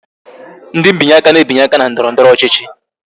Ndị binye aka na-ebinye aka na ndọrọndọrọ ọchịchị